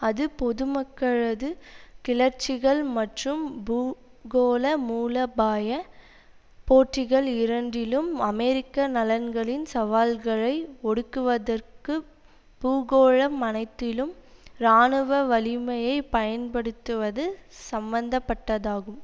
அது பொது மக்களது கிளர்ச்சிகள் மற்றும் பூகோளமூலபாய போட்டிகள் இரண்டிலும் அமெரிக்க நலன்களின் சவால்களை ஒடுக்குவதற்கு பூகோளம் அனைத்திலும் இராணுவ வலிமையை பயன்படுத்துவது சம்மந்த பட்டதாகும்